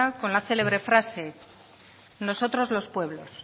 con la célebre frase nosotros los pueblos